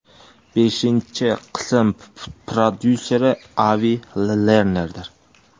Beshinchi qism prodyuseri Avi Lernerdir.